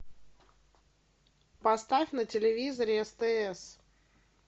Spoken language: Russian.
поставь на телевизоре стс